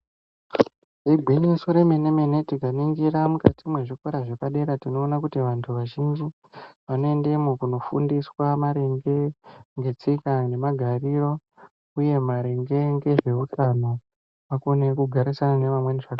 Igwinyiso remene mene tikaningisa mukati mwezvikora zvepadera tinoona kuti vantu vazhinji vanoendemwo kofundiswa maringe ngetsika nemgariro uye maringe ngezveutano akone kugarisana neamweni zvakanaka.